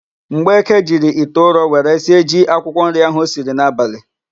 Mgbeke jiri ite ụrọ were sie ji akwụkwọnri ahụ o siri n'abalị.